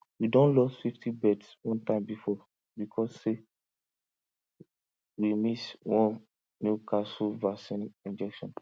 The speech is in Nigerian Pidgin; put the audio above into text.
we don lost fifty birds one time before because say way miss one newcastle vaccine injection